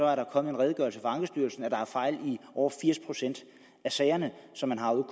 er der kommet en redegørelse fra ankestyrelsen om at der er fejl i over firs procent af sagerne som man har ude